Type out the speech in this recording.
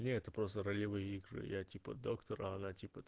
не это просто ролевые игры я типа доктор а она типо